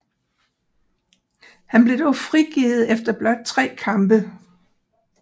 Han blev dog frigivet efter blot 3 kampe